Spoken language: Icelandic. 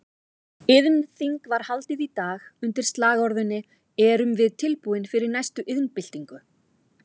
Iðnþing var haldið í dag undir slagorðinu Erum við tilbúin fyrir næstu iðnbyltingu?